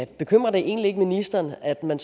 bekymrer det egentlig ikke ministeren at man